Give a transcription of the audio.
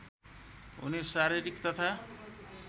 हुने शारिरीक तथा